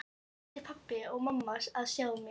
Nú ættu pabbi og mamma að sjá mig!